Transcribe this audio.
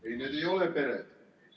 Ei, need ei ole pered.